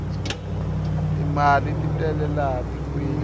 timali titele laha tikweni